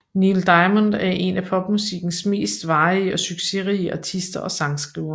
Neil Diamond er en af popmusikkens mest varige og succesrige artister og sangskrivere